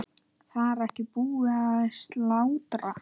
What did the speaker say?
Var ekki búið að slátra?